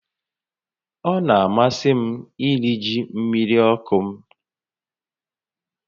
Ọ na-amasị m iri ji mmiri ọkụ m